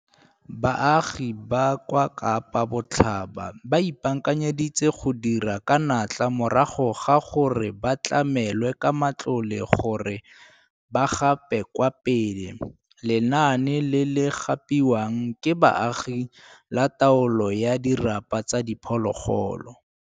Baagi ba kwa Kapa Botlhaba ba ipaakanyeditse go dira ka natla morago ga gore ba tlamelwe ka matlole gore ba gape kwa pele lenaane le le gapiwang ke baagi la taolo ya dirapa tsa diphologolo.